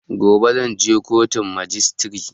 Gobe zan je kotun majistire